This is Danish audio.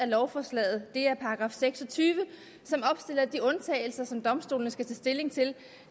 lovforslaget er § seks og tyve som opstiller de undtagelser som domstolene skal tage stilling til